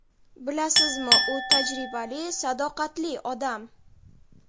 Bilasizmi, u tajribali, sadoqatli odam.